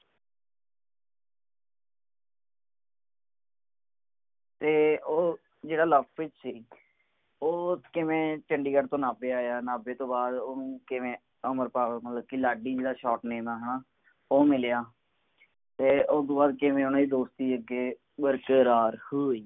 ਤੇ ਉਹ ਜਿਹੜਾ ਲਵਪ੍ਰੀਤ ਸੀ ਉਹ ਕਿਵੇਂ ਚੰਡੀਗੜ੍ਹ ਤੋਂ ਨਾਭੇ ਆਇਆ ਤੇ ਨਾਭੇ ਤੋਂ ਬਾਅਦ ਓਹਨੂੰ ਕਿਵੇਂ ਅਮਰਪਾਲ ਮਤਲਬ ਲਾਡੀ ਜਿਹੜਾ ਦੁਕਾਨ ਦਾ ਨਾਮ ਹੈ ਨਾ ਉਹ ਮਿਲਿਆ ਤੇ ਓਹਦੇ ਤੋਂ ਬਾਅਦ ਕਿਵੇਂ ਉਨ੍ਹਾਂ ਦੋਸਤੀ ਅੱਗੇ ਬਰਕਾਰ ਹੋਈ